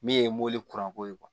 Min ye mori kuranko ye